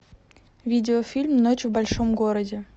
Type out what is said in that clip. видеофильм ночь в большом городе